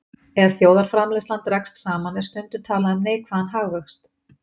Ef þjóðarframleiðsla dregst saman er stundum talað um neikvæðan hagvöxt.